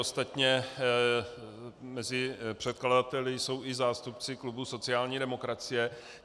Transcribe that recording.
Ostatně mezi předkladateli jsou i zástupci klubu sociální demokracie.